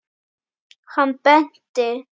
Hann benti.